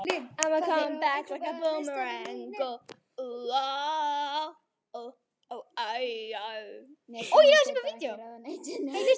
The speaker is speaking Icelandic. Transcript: Eins og þjónn, í hvítri, stutterma skyrtu og svörtum buxum.